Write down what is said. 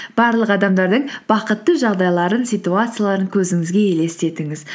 барлық адамдардың бақытты жағдайларын ситуацияларын көзіңіге елестетіңіз